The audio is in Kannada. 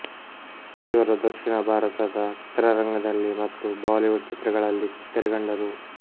ಇವರು ದಕ್ಷಿಣ ಭಾರತದ ಚಿತ್ರರಂಗದಲ್ಲಿ ಮತ್ತು ಬಾಲಿವುಡ್ ಚಿತ್ರಗಳಲ್ಲಿ ತೆರೆಕಂಡರು